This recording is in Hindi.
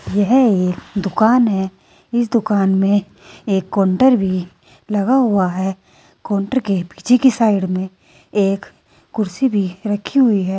यह एक दुकान है इस दुकान में एक काउंटर भी लगा हुआ है काउंटर के पीछे की साइड में एक कुर्सी भी रखी हुई है।